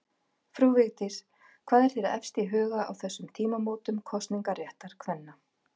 Frú Vigdís, hvað er þér efst í huga á þessum tímamótum kosningaréttar kvenna?